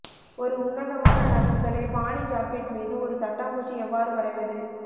ஒரு உன்னதமான நகங்களை பாணி ஜாக்கெட் மீது ஒரு தட்டாம்பூச்சி எவ்வாறு வரைவது